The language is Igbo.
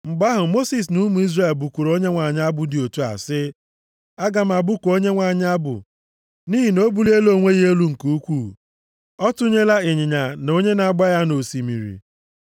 Mgbe ahụ, Mosis na ụmụ Izrel bụkuru Onyenwe anyị abụ dị otu a sị, “Aga m abụku Onyenwe anyị abụ nʼihi na o buliela onwe ya elu nke ukwuu. Ọ tụnyela ịnyịnya na onye na-agba ya nʼosimiri.